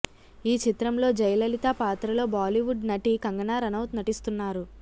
ఈ చిత్రంలో జయలలితా పాత్రలో బాలీవుడ్ నటి కంగనా రనౌత్ నటిస్తున్నారు